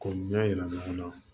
K'o ɲɛ yira ɲɔgɔn na